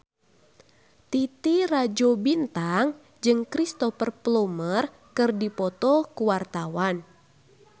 Titi Rajo Bintang jeung Cristhoper Plumer keur dipoto ku wartawan